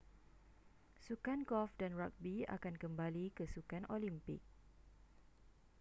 sukan golf dan ragbi akan kembali ke sukan olimpik